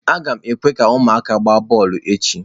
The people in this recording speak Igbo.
Aga m ekwe ka ụmụaka gbaa bọọlụ echi.